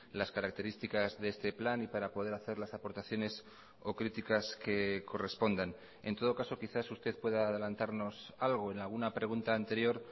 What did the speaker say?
las características de este plan y para poder hacer las aportaciones o críticas que correspondan en todo caso quizás usted pueda adelantarnos algo en alguna pregunta anterior